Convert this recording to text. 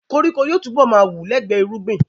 Koríko yóò túbọ̀ ma wù lẹ́gbẹ irúgbìn